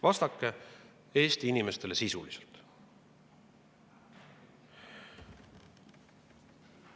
Vastake Eesti inimestele sisuliselt.